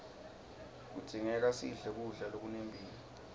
kudzingeka sidle kudla lokunempilo